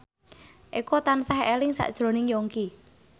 Eko tansah eling sakjroning Yongki